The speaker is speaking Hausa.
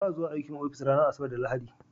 Ba a zuwa aiki ofis ranar Asabar da Lahadi.